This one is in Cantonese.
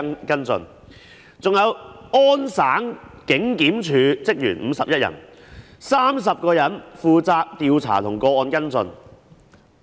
加拿大安大略省警檢署的職員共有51人 ，30 人負責調查和跟進個案。